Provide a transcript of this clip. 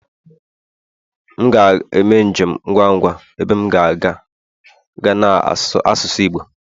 M ga-eme njem ngwa ngwa, ebe m ga-aga m ga na-asụ